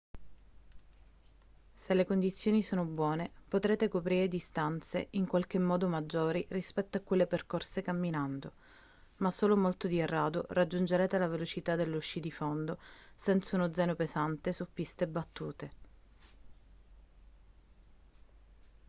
se le condizioni sono buone potrete coprire distanze in qualche modo maggiori rispetto a quelle percorse camminando ma solo molto di rado raggiungerete le velocità dello sci di fondo senza uno zaino pesante su piste battute